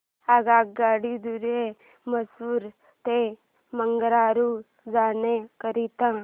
आगगाडी द्वारे मैसूर ते बंगळुरू जाण्या करीता